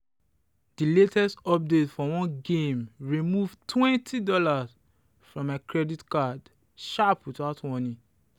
the latest update for one game remove $20 from my credit card sharp without warning.